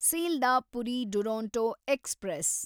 Sealdah Puri Duronto express